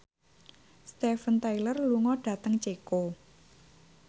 Steven Tyler lunga dhateng Ceko